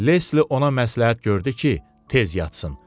Lesli ona məsləhət gördü ki, tez yatsın.